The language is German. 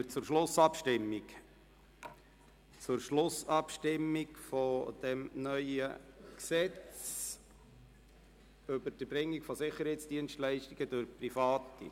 Wir kommen zur Schlussabstimmung über das neue Gesetz über das Erbringen von Sicherheitsdienstleistungen durch Private.